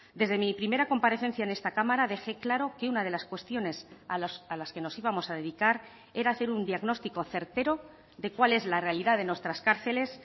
desde mi primera comparecencia en esta cámara dejé claro que una de las cuestiones a las que nos íbamos a dedicar era hacer un diagnóstico certero de cuál es la realidad de nuestras cárceles